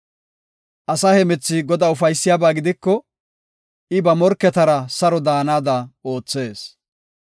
Asa hemethi Godaa ufaysiyabaa gidiko, I ba morketara saro daanada oothees.